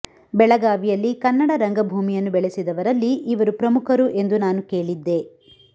ಬೆಳಗಾವಿಯಲ್ಲಿ ಕನ್ನಡ ರಂಗಭೂಮಿಯನ್ನು ಬೆಳೆಸಿದವರಲ್ಲಿ ಇವರು ಪ್ರಮುಖರು ಎಂದು ನಾನು ಕೇಳಿದ್ದೆ